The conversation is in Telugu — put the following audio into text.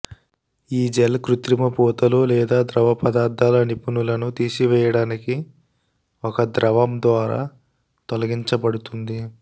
ఈ జెల్ కృత్రిమ పూతలు లేదా ద్రవ పదార్ధాల నిపుణులను తీసివేయడానికి ఒక ద్రవం ద్వారా తొలగించబడుతుంది